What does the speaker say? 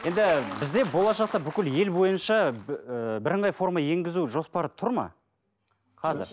енді бізде болашақта бүкіл ел бойынша ыыы бірыңғай форма енгізу жоспары тұр ма қазір